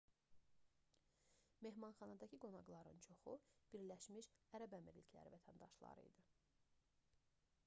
mehmanxanadakı qonaqların çoxu bəə vətəndaşları idi